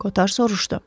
Koter soruşdu.